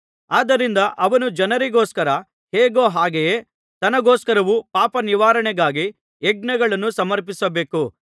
ಆದ್ದರಿಂದ ಅವನು ಜನರಿಗೋಸ್ಕರ ಹೇಗೋ ಹಾಗೆಯೇ ತನಗೋಸ್ಕರವೂ ಪಾಪನಿವಾರಣೆಗಾಗಿ ಯಜ್ಞಗಳನ್ನು ಸಮರ್ಪಿಸಬೇಕು